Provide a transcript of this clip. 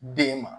Den ma